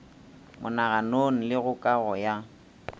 monaganong le go kago ya